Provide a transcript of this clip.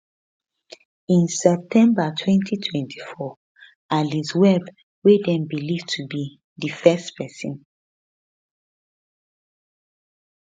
in september 2024 alice webb wey dem believe to bedi first pesin